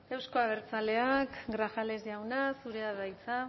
euzko abertzaleak grajales jauna zurea da hitza